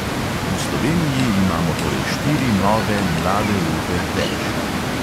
V sloveniji imamo torej štiri nove mlade upe več.